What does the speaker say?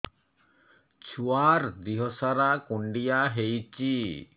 ଛୁଆର୍ ଦିହ ସାରା କୁଣ୍ଡିଆ ହେଇଚି